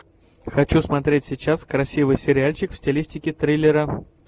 хочу смотреть сейчас красивый сериальчик в стилистике триллера